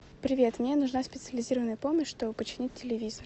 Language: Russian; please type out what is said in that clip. привет мне нужна специализированная помощь чтобы починить телевизор